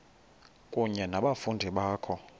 kunye nabafundi bakho